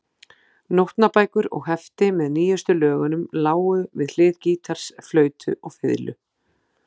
Nótnabækur og hefti með nýjustu lögunum lágu við hlið gítars, flautu og fiðlu.